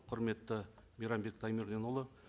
құрметті мейрамбек таймерденұлы